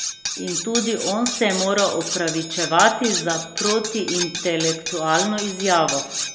In tudi on se je moral opravičevati za protiintelektualno izjavo.